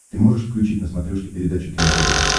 ты можешь включить на смотрешке передачу кино тв